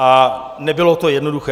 A nebylo to jednoduché.